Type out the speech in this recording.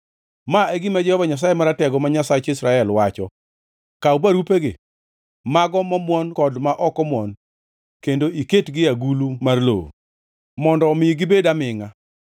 ‘Ma e gima Jehova Nyasaye Maratego, ma Nyasach Israel, wacho: Kaw barupegi, mago momwon kod ma ok omuon, kendo iketgi e agulu mar lowo mondo omi gibed amingʼa.